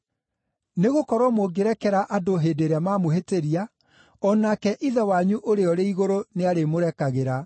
Nĩgũkorwo mũngĩrekera andũ hĩndĩ ĩrĩa mamũhĩtĩria, o nake Ithe wanyu ũrĩa ũrĩ igũrũ nĩarĩmũrekagĩra.